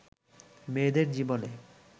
মেয়েদের জীবনে